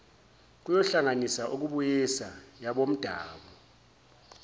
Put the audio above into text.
kohlanganisa ukubuyisa yabomdabu